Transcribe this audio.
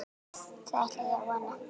Það ætla ég að vona.